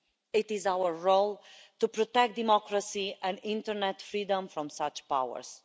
It is our role to protect democracy and internet freedom from such powers.